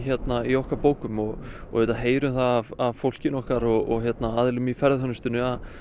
í okkar bókum og auðvitað heyrum það á fólkinu okkar og aðilum í ferðaþjónustunni að